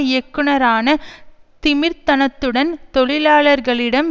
இயக்குனரான திமிர்த்தனத்துடன் தொழிலாளர்களிடம்